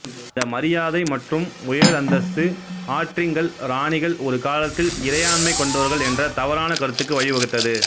இந்த மரியாதை மற்றும் உயர் அந்தஸ்து ஆற்றிங்கல் இராணிகள் ஒரு காலத்தில் இறையாண்மை கொண்டவர்கள் என்ற தவறான கருத்துக்கு வழிவகுத்தது